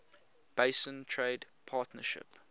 basin trade partnership